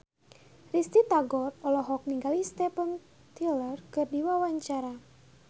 Risty Tagor olohok ningali Steven Tyler keur diwawancara